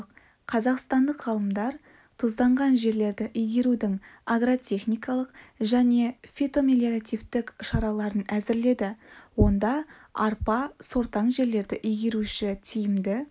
қазақстандық ғалымдар тұзданған жерлерді игерудің агротехникалық және фитомелиоративтік шараларын әзірледі онда арпа сортаң жерлерді игеруші тиімді